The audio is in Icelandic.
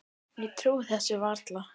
Ég trúi þessu bara varla.